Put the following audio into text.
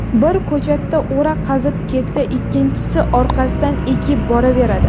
Biri ko‘chatga o‘ra qazib ketsa, ikkinchisi orqasidan ekib boraveradi.